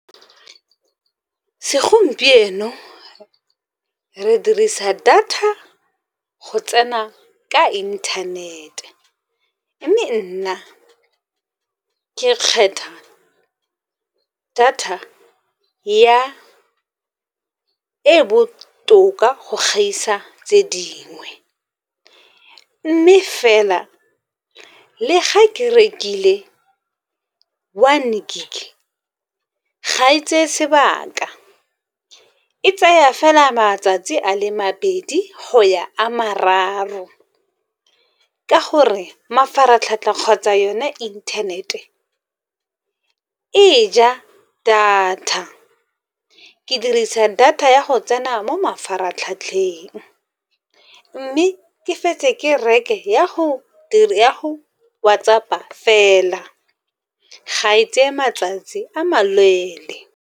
Segompieno re dirisa data go tsena ka internet-e, mme nna ke kgetha data e botoka go gaisa tse dingwe. Mme fela le ga ke rekile one gig ga e tseye sebaka, e tsaya fela matsatsi a le mabedi go ya a mararo. Ka gore mafaratlhatlha kgotsa yone internet-e e ja data, ke dirisa data ya go tsena mo mafaratlhatlheng. Mme ke fetse ke reke ya go WhatsApp-a fela ga e tseye matsatsi a maleele.